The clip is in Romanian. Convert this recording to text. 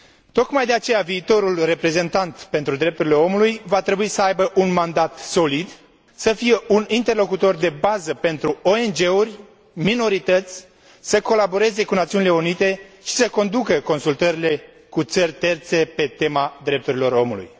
Tocmai de aceea, viitorul reprezentant pentru drepturile omului va trebui să aibă un mandat solid, să fie un interlocutor de bază pentru ONG uri, minorități, să colaboreze cu Națiunile Unite și să conducă consultările cu țări terțe pe tema drepturilor omului.